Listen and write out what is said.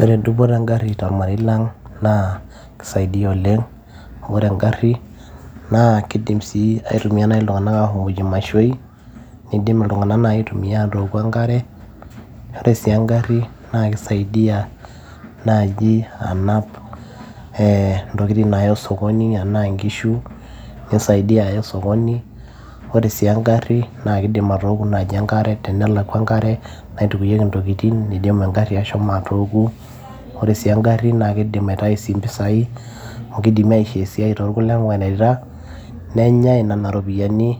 Ore dupoto engarri tormarei lang' naa kisaidia oleng' naa ore engarri kiidim naai iltung'anak aashomoyie imashoi, niidim iltung'anak aitumiya atooku enkare ore sii engarri naa kisaidia naaji anap ee ntokitin naayai osokoni enaa nkishu, kisaidia aya osokoni ore sii engarri naa kiidim atooku naaji enkare, tenelakwa enakare naitukuoki intokitin nidim engarri ashomo atooku, ore sii engarri naa kiidim aitayu sii impisai amu kiidimi aishoo esiai te kulie mareita nenyai inena ropiyiani